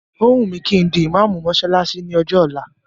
Ó wùn mí kí n di ìmáámù mọ́ṣáláṣí ní ọjọ́ ọ̀la.